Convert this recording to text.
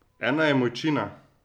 Ena je Mojčina.